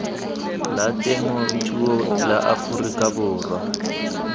la temothuo la aforika borwa